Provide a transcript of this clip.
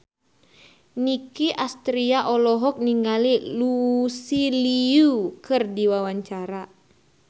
Nicky Astria olohok ningali Lucy Liu keur diwawancara